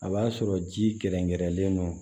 A b'a sɔrɔ ji kɛrɛnkɛrɛnlen don